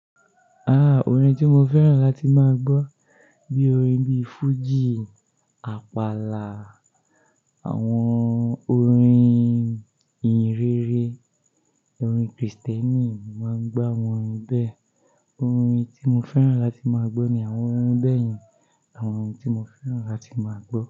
Ah, orin tí mo fẹ́ràn láti máa gbọ́, bí i orin bí i fújì, àpàlà, àwọn orin ìhìnrere, orin Krìstẹ́nì, mo máa ń gbá wọn bẹ́ẹ̀. Orin tí mo fẹ́ràn láti máa gbọ́ ni àwọn orin bẹ́ẹ̀ yẹn. Àwọn orin tí mo fẹ́ràn láti máa gbọ́